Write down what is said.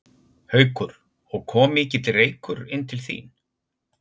Haukur: Og kom mikill reykur inn til þín?